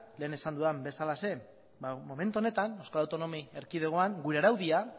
lehen esan dudan bezalaxe ba momentu honetan euskal autonomi erkidegoan gure araudia